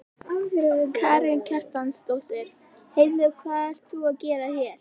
Karen Kjartansdóttir: Heyrðu hvað ert þú að gera hér?